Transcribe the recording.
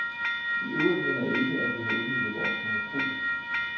Iøvrigt mener jeg ikke, at vi har udnyttet vores monopol.